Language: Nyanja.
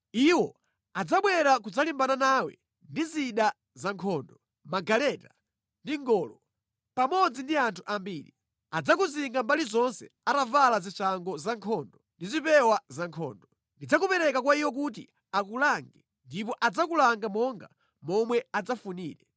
Iwo adzabwera kudzalimbana nawe ndi zida za nkhondo, magaleta ndi ngolo, pamodzi ndi anthu ambiri. Adzakuzinga mbali zonse atavala zishango zankhondo ndi zipewa zankhondo. Ndidzakupereka kwa iwo kuti akulange ndipo adzakulanga monga momwe adzafunire.